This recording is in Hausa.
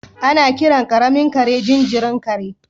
Ana kiran karamin kare jinjirin kare.